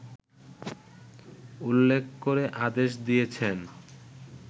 উল্লেখ করে আদেশ দিয়েছেন